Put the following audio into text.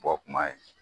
Bɔ kuma ye